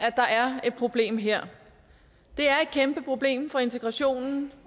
at der er et problem her det er et kæmpe problem for integrationen